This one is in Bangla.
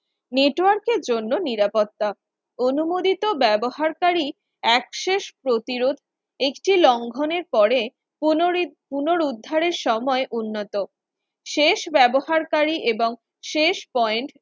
network এর জন্য নিরাপত্তা অনুমোদিত ব্যবহারকারী Access প্রতিরোধ একটি লঙ্ঘনের পরে পুনরিত পুনরুদ্ধারের সময় উন্নত শেষ ব্যবহারকারী এবং শেষ Point